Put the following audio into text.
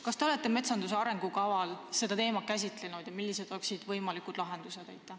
Kas te olete metsanduse arengukavas seda teemat käsitlenud ja millised on võimalikud lahendused?